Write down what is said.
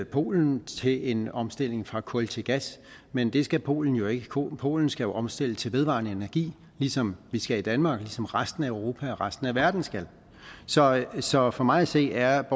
polen til en omstilling fra kul til gas men det skal polen jo ikke polen polen skal jo omstille til vedvarende energi ligesom vi skal i danmark og ligesom resten af europa og resten af verden skal så så for mig at se er